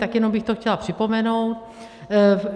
Tak jenom bych to chtěla připomenout.